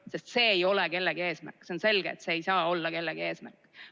Sest see ei ole kellegi eesmärk, see on selge, et see ei saa olla kellegi eesmärk.